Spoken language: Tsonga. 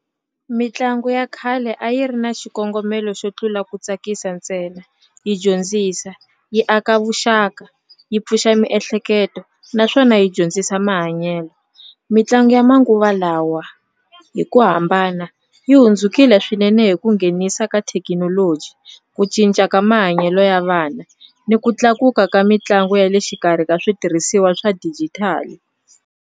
Mitlangu ya khale a yi ri na xikongomelo xo tlula ku tsakisa ntsena yi dyondzisa yi aka vuxaka yi pfuxa miehleketo naswona yi dyondzisa mahanyelo, mitlangu ya manguva lawa hi ku hambana yi hlundzukile swinene hi ku nghenisa ka thekinoloji ku cinca ka mahanyelo ya vana ni ku tlakuka ka mitlangu ya le xikarhi ka switirhisiwa swa dijitali.